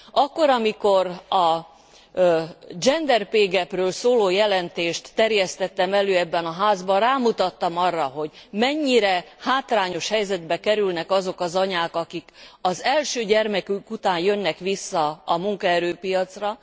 Akkor, amikor a Gender pay gap ekről szóló jelentést terjesztettem elő ebben a házban, rámutattam arra, hogy mennyire hátrányos helyzetbe kerülnek azok az anyák, akik az első gyermekük után jönnek vissza a munkaerőpiacra.